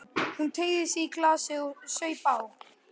Hún teygði sig í glasið og saup á.